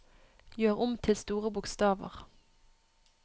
Gjør om til store bokstaver